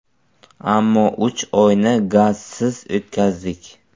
Ammo uch oyni gazsiz o‘tkazdik.